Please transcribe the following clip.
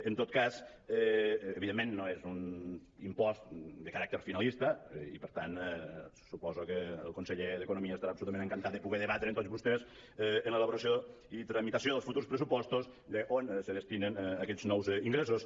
en tot cas evidentment no és un impost de caràcter finalista i per tant suposo que el conseller d’economia estarà absolutament encantat de poder debatre amb tots vostès en l’elaboració i tramitació dels futurs pressupostos d’on se destinen aquests nous ingressos